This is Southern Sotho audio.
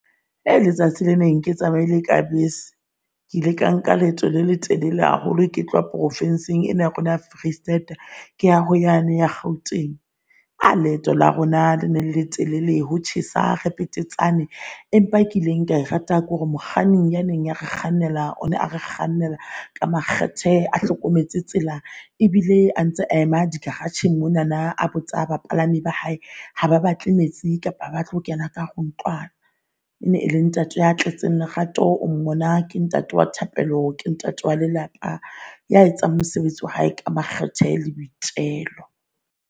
Ke ha ele letsatsi le leng ke tsamaile ka bese, ke ile ka nka leeto le letelele haholo ke tloha profinsing ena ya rona ya Vrystaat ke ya ho yane ya Kgauteng. Ka ha leeto la rona le letelele ho tjhesang re petetsane. Empa e kileng ka e rata kore mokganni ya neng re kgannelwa on ma re kgannela ka makgethe, a hlokometse tsela ebile a ntse a ema di garage-ng mona nana. A botsa bapalami ba hae ha ba batle metsi kapa ha batle ho kena ka ntlwana. Ene ele ntate ya tletseng lerato. O mmona ke ntate wa thapelo ke ntate wa lelapa ya etsang mosebetsi wa hae ka makgethe le boitelo.